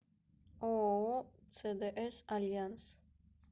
ооо цдс альянс